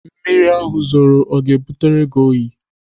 Mmiri ahụ zoro ọ ga-ebutere gị?